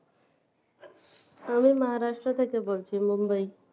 আমি moharasto থেকে বলছি Mumbai